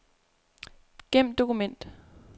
Gem dokument.